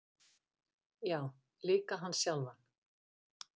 Já, líka hann sjálfan.